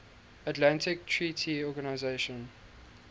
atlantic treaty organization